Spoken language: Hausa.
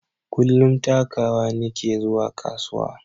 Kullum takawa nike zuwa kasuwa